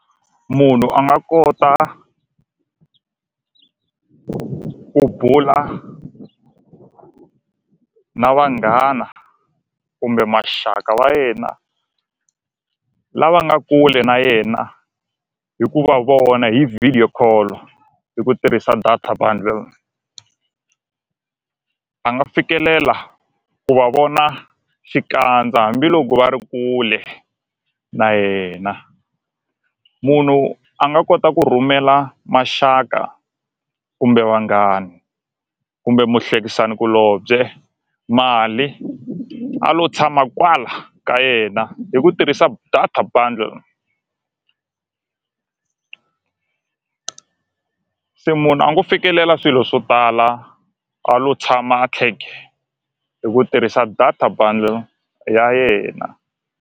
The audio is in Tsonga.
Munhu a nga kota ku bula ku na vanghana kumbe maxaka wa yena lava nga kule na yena hi ku va vona hi video call hi ku tirhisa data buddle a nga fikelela ku va vona xikandza hambiloko va ri kule na yena munhu a nga kota ku rhumela maxaka kumbe vanghani kumbe muhlekisani kulobye mali a lo tshama kwala ka yena hi ku tirhisa data buddle se munhu a ngo fikelela swilo swo tala a lo tshama hi ku tirhisa data bundle ya yena.